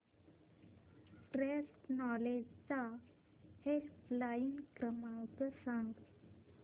cross knowledge चा helpline क्रमांक सांगा